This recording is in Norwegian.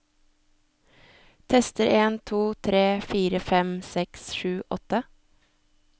Tester en to tre fire fem seks sju åtte